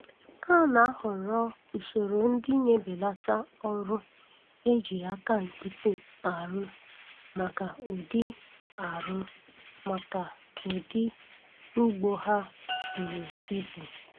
A na-ahọrọ usoro ndị na-ebelata ọrụ eji aka nkịtị arụ maka ụdị arụ maka ụdị ugbo ha buru ibu.